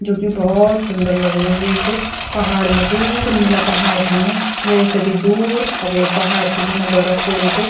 जोकि भोत सुन्दर लगणु एक पहाड़ मा दूर नीला पहाड़ छीन वेसे भी दूर सफ़ेद पहाड़ छि जेमा बरफ पुड़ी च।